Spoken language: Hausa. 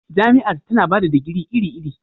Jami'ar tana ba da digiri iri-iri